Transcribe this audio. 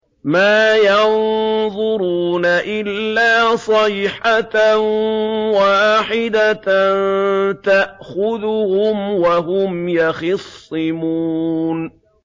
مَا يَنظُرُونَ إِلَّا صَيْحَةً وَاحِدَةً تَأْخُذُهُمْ وَهُمْ يَخِصِّمُونَ